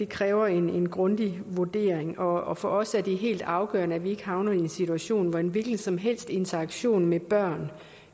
kræver en grundig vurdering og for os er det helt afgørende at vi ikke havner i en situation hvor en hvilken som helst interaktion med børn